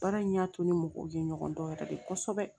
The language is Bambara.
Baara in y'a to ni mɔgɔw ye ɲɔgɔn dɔn yɛrɛ de kosɛbɛ